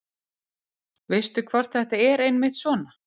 veistu hvort þetta er einmitt svona